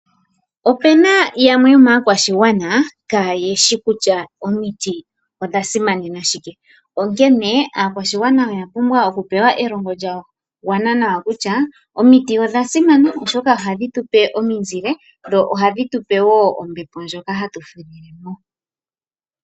Opu na yamwe yomaakwashigwana kaa yeshi kutya omiti odha simana shike. Onkene aakwashigwana oya pumbwa oku pewa elongo lya gwana nawa kutya omiti odha simana oshoka ohadhi tupe ominzile, dho ohadhi tupe wo ombepo ndjoka hatu fudhile mo.